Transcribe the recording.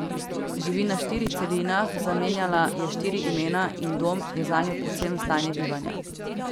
Živi na štirih celinah, zamenjala je štiri imena, in dom je zanjo predvsem stanje bivanja.